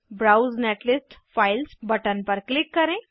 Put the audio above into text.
browse netlist files button पर click करें